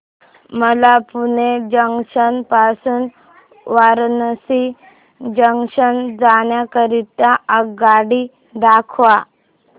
मला पुणे जंक्शन पासून वाराणसी जंक्शन जाण्या करीता आगगाडी दाखवा